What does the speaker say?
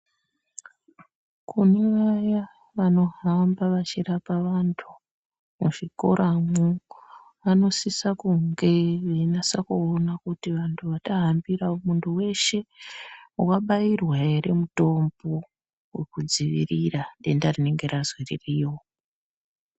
Kune vaya vanohamba vachirapa vantu muzvikora mwo, vanosisa kunge veinasa kuona kuti vantu vatahambira muntu weshe wabairwa ere mutombo wekudziirira denda rinenge razi ririyo.